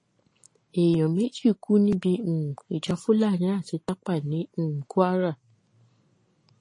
èèyàn méjì kú níbi um ìjà fúlàní àti tápà ní um kwara